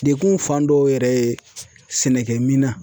Dekun fan dɔw yɛrɛ ye, sɛnɛkɛminan.